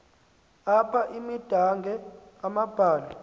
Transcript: apha imidange amambalu